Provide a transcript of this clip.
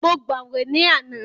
Mo gbàwè ní àná.